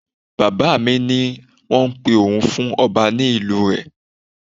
Bàbá mi ní wọ́n ń pe òun fún ọba ní ìlú rẹ.